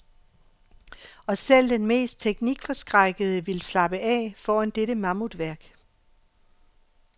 Og selv den mest teknikforskrækkede vil slappe af foran dette mammutværk.